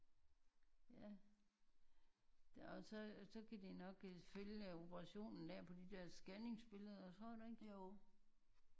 Ja og så så kan de nok øh følge operationen der på de der scanningsbilleder tror du ikke?